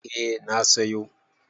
Eh na sayo.